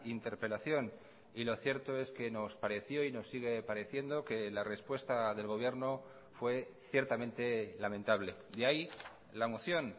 interpelación y lo cierto es que nos pareció y nos sigue pareciendo que la respuesta del gobierno fue ciertamente lamentable de ahí la moción